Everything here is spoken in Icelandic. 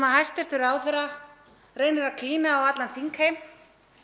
hæstvirtur ráðherra reynir að klína á allan þingheim